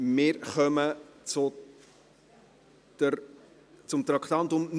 Wir kommen zum Traktandum 39.